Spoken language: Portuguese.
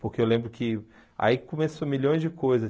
Porque eu lembro que aí começou milhões de coisas.